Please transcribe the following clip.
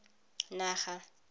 naga